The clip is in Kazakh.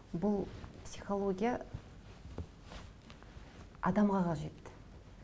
бұл психология адамға қажет